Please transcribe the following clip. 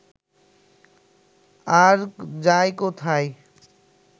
আর যায় কোথায়